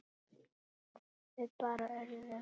Við bara urðum.